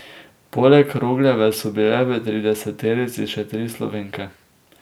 Poleg Rogljeve so bile v trideseterici še tri Slovenke.